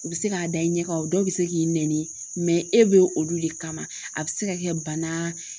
U bɛ se k'a da i ɲɛ kan o dɔw bɛ se k'i nɛni e bɛ olu le kama a bɛ se ka kɛ bana